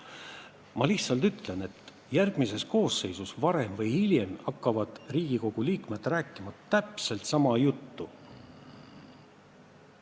Ma lihtsalt ütlen, et järgmises koosseisus varem või hiljem hakkavad Riigikogu liikmed rääkima täpselt sama juttu.